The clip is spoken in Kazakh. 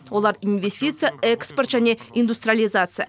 олар инвестиция экспорт және индустриализация